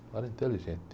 Um cara inteligente.